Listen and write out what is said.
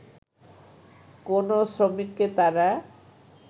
কোন শ্রমিককে তারা